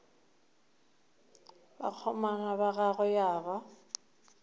bakgomana ba gagwe ya ba